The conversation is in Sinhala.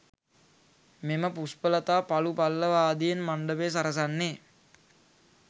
මෙම පුෂ්පලතා පලු පල්ලව ආදියෙන් මණ්ඩපය සරසන්නේ